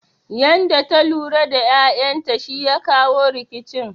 Yanda ta lura da ƴaƴan ta shi ya kawo rikicin